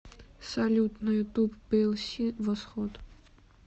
салют на ютуб пиэлси восход